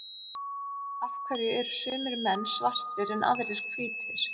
af hverju eru sumir menn svartir en aðrir hvítir